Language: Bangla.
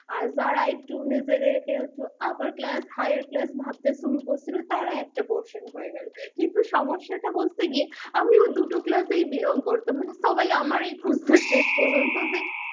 আর যারা নিজেদের কে একটু upper class, higher class ভাবতে শুরু করছিলো তারা একটা portion হয়ে গেলো কিন্তু সমস্যাটা হচ্ছে গিয়ে আমি ওই দুটো class এই belong করতাম মানে সবাই আমাকে খুঁজতো মানে শেষ পর্যন্ত যে